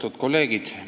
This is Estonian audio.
Austatud kolleegid!